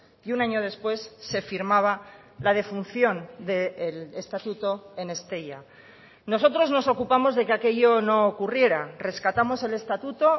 y un año después se firmaba la defunción del estatuto en estella nosotros nos ocupamos de que aquello no ocurriera rescatamos el estatuto